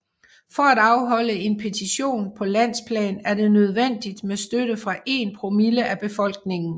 For at afholde en petition på landsplan er det nødvendigt med støtte fra én promille af befolkningen